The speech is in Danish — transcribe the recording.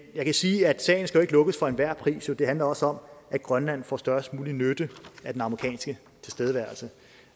jeg kan sige at sagen skal lukkes for enhver pris det handler også om at grønland får størst mulig nytte af den amerikanske tilstedeværelse